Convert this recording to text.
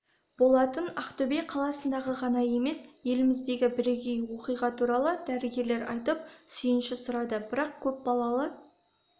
болатын ақтөбе қаласындағы ғана емес еліміздегі бірегей оқиға туралы дәрігерлер айтып сүйінші сұрады бірақ көпбалалы